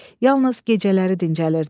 Yalnız gecələri dincəlirdilər.